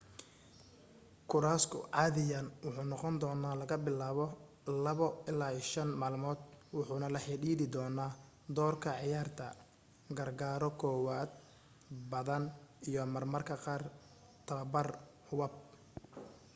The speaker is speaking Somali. koorasku caadiyan wuxuu noqondoonaa laga bilaabo 2-5 maalmood wuxuna la xidhiidhi doonaa doorka ciyaarta gargaaro kowaad badan iyo marmarka qaar tababar hubab